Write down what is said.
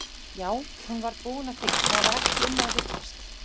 Já, hún var búin að því, það var ekki um að villast!